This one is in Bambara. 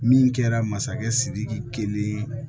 Min kɛra masakɛ sidiki kelen